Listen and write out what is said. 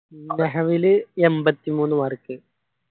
മെഹാമില് എൺപത്തിമൂന്നു mark